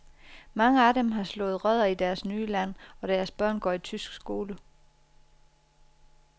Mange af dem har slået rødder i deres nye land og deres børn går i tysk skole.